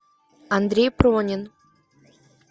андрей пронин